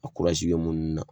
A kurazi munnu na